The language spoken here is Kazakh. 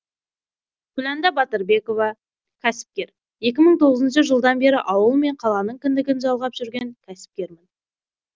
күләнда батырбекова кәсіпкер екі мың тоғызыншы жылдан бері ауыл мен қаланың кіндігін жалғап жүрген кәсіпкермін